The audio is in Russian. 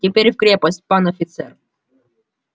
теперь в крепость пан офицер